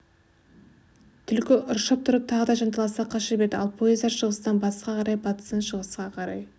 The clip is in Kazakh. түлкі ыршып тұрып тағы да жанталаса қаша берді ал пойыздар шығыстан батысқа қарай батыстан шығысқа қарай